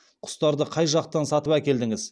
құстарды қай жақтан сатып әкелдіңіз